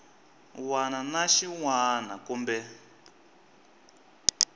wana na xin wana kumbe